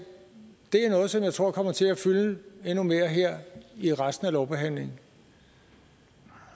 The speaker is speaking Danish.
er noget som jeg tror kommer til at fylde endnu mere her i resten af lovbehandlingen